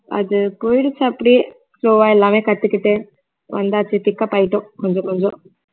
அது போயிடுச்சு அப்படியே so எல்லாமே கத்துக்கிட்டு வந்தாச்சு pick up ஆயிட்டோம் கொஞ்ச கொஞ்சம்